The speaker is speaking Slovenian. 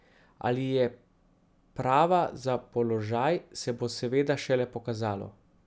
Ali je prava za položaj, se bo seveda šele pokazalo.